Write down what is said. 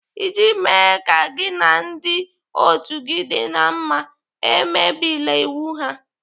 Iji mee ka gị na ndị otu gị dị na mma, emebila iwu ha.